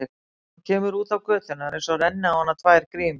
Þegar hún kemur út á götuna er einsog renni á hana tvær grímur.